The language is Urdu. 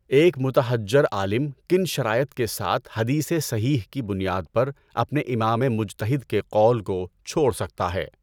ایک مُتَبَحّر عالم کن شرائط کے ساتھ حدیثِ صحیح کی بنیاد پر اپنے امامِ مُجتَہِد کے قول کو چھوڑ سکتا ہے؟